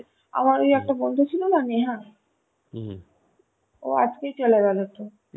আমার ওই একটা বন্ধু ছিল না নেহা ও আজকেই চলে গেল তো.